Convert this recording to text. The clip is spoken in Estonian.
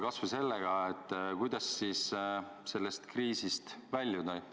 Kas või sellega, kuidas sellest kriisist väljuda.